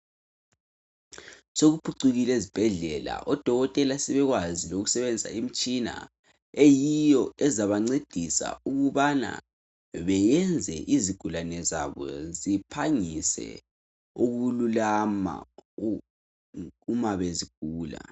Sokuphucukile ezibhedlela odokotela sebekwazi ukusebenzisa imitshina eyiyo ezabancedisa ukuba bayenze izigulane zabo ziphangise ukululama nxa zigula